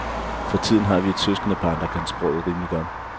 For tiden har vi et søskendepar, der kan sproget rimelig godt.